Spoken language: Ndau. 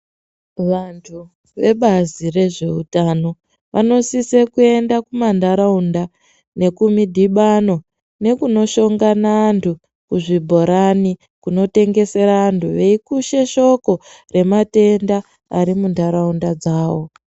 Vantu vebazi rezveutano ,vanosise kuenda kumandaraunda nekumidhibano ,nekunoshongana antu kuzvibhorani ,kunotengesera antu veikushe shoko rematenda ari mundaraunda dzawo .